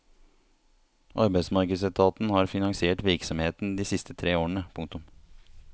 Arbeidsmarkedsetaten har finansiert virksomheten de siste tre årene. punktum